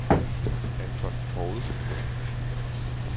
Anton Poulsen